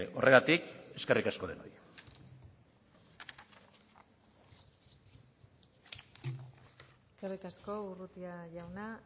horregatik eskerrik asko denoi eskerrik asko urrutia jauna